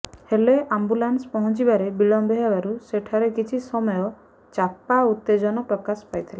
ହେଲେ ଆମ୍ବୁଲାନ୍ସ ପହଞ୍ଚିବାରେ ବିଳମ୍ବ ହେବାରୁ ସେଠାରେ କିଛି ସମୟ ଚାପା ଉତ୍ତେଜନା ପ୍ରକାଶ ପାଇଥିଲା